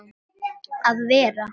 að vera.